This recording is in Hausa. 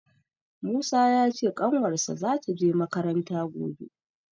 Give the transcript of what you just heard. Musa ya ce ƙanwarsa za ta je makaranta gobe